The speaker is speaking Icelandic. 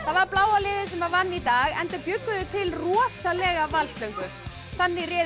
var bláa liðið sem vann í dag enda bjuggu þau til rosalega valslöngvu þannig réðust